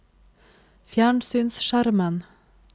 fjernsynsskjermen